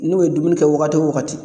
N'u ye dumuni kɛ waagati o waagati